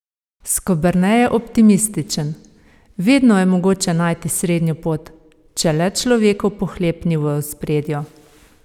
Skoberne je optimističen: "Vedno je mogoče najti srednjo pot, če le človekov pohlep ni v ospredju.